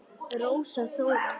Rósa Þóra.